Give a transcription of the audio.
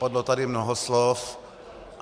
Padlo tady mnoho slov.